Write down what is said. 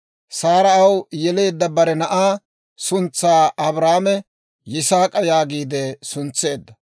Saara Aw yeleedda bare na'aa suntsaa Abrahaame «Yisaak'a» yaagiide suntseedda.